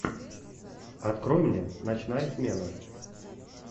открой мне ночная смена